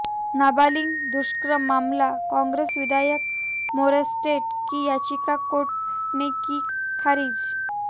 नाबालिग दुष्कर्म मामलाः कांग्रेस विधायक मोंसेरेटे की याचिका कोर्ट ने की खारिज